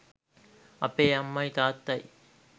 අපේ අම්මයි තාත්තයි